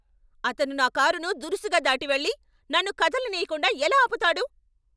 అతను నా కారును దురుసుగా దాటి వెళ్లి, నన్ను కదలనీయకుండా ఎలా ఆపుతాడు?